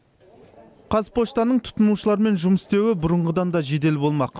қазпоштаның тұтынушылармен жұмыс істеуі бұрынғыдан да жедел болмақ